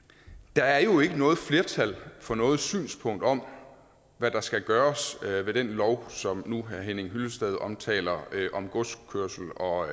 der er jo ikke noget flertal for noget synspunkt om hvad der skal gøres ved den lov som herre henning hyllested omtaler om godskørsel og